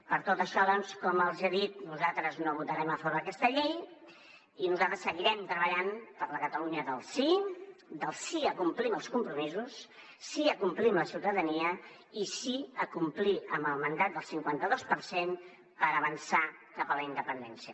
per tot això doncs com els he dit nosaltres no votarem a favor d’aquesta llei i nosaltres seguirem treballant per la catalunya del sí del sí a complir amb els compromisos sí a complir amb la ciutadania i sí a complir amb el mandat del cinquanta dos per cent per avançar cap a la independència